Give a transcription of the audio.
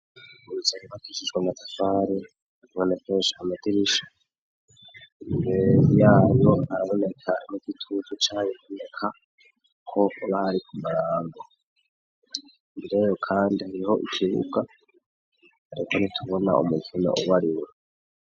Uruserebakishijwe amatafare bonekesha amadirisha ngu yabonkaraboneka n' gituzu caye ikuneka ko ubahari ku marango mbireyo, kandi aniho ikibuga areta ntitubona umukina ub ariwe.